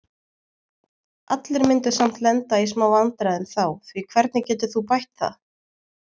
Allir myndu samt lenda í smá vandræðum þá því hvernig getur þú bætt það?